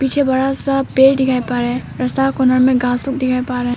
पीछे बड़ा सा पेड़ दिखाई पड़ रहा है रस्ता कॉर्नर में घास लोग दिखाई पड़ रहा है।